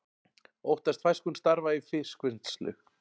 Óttast fækkun starfa í fiskvinnslu